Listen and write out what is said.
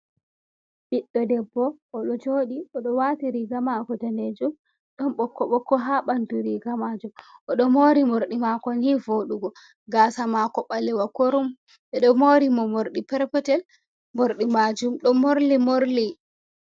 Ɓiɗɗo debbo o ɗo jooɗi ,o ɗo waati riiga maako daneejum ,ɗon ɓokko ɓokko haa ɓanndu riiga maajum. O ɗo moori morɗi maako ni voɗugo, gaasa maako ɓalewa kurum ɓe ɗo moori mo, mordɗi perpetel morɗi maajum ɗo morli morli.